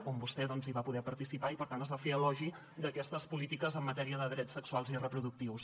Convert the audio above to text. on vostè va poder participar i per tant es va fer elogi d’aquestes polítiques en matèria de drets sexuals i reproductius